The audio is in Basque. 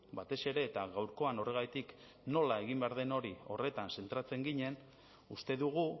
batez ere eta gaurkoan horregatik nola egin behar den hori horretan zentratzen ginen uste dugu